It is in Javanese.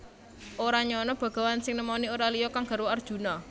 Ora nyana Begawan sing nemoni ora liya kang garwa Arjuna